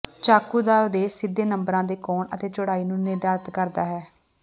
ਚਾਕੂ ਦਾ ਉਦੇਸ਼ ਸਿੱਧੇ ਨੰਬਰਾਂ ਦੇ ਕੋਣ ਅਤੇ ਚੌੜਾਈ ਨੂੰ ਨਿਰਧਾਰਤ ਕਰਦਾ ਹੈ